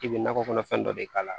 I bɛ nakɔ kɔnɔfɛn dɔ de k'a la